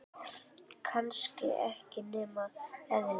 Sem var kannski ekki nema eðlilegt.